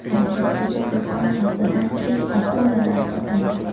Harakatdagi vulqon og‘zidan tirik akulalar topildi .